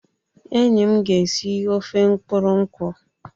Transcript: Enyi m ga esi ofe mkpụrụ nkwu.